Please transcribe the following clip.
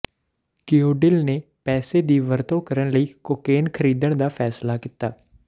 ਕਉਡੀਲ ਨੇ ਪੈਸੇ ਦੀ ਵਰਤੋਂ ਕਰਨ ਲਈ ਕੋਕੀਨ ਖਰੀਦਣ ਦਾ ਫੈਸਲਾ ਕੀਤਾ